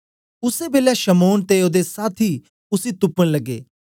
उसै बेलै शमौन ते ओदे साथी उसी तुपन लग्गे